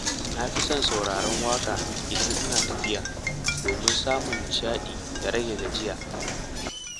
Na fi son sauraron waƙa idan ina tafiya domin samun nishaɗi da rage gajiya.